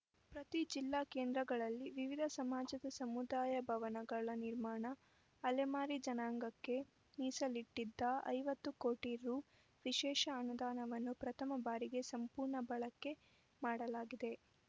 ಪ್ರತಿ ಜಿಲ್ಲಾ ಕೇಂದ್ರಗಳಲ್ಲಿ ವಿವಿಧ ಸಮಾಜದ ಸಮುದಾಯ ಭವನಗಳ ನಿರ್ಮಾಣ ಅಲೆಮಾರಿ ಜನಾಂಗಕ್ಕೆ ಮೀಸಲಿಟ್ಟಿದ್ದ ಐವತ್ತು ಕೋಟಿ ರುವಿಶೇಷ ಅನುದಾನವನ್ನು ಪ್ರಥಮ ಬಾರಿಗೆ ಸಂಪೂರ್ಣ ಬಳಕೆ ಮಾಡಲಾಯಿತು